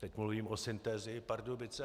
Teď mluvím o Synthesii Pardubice.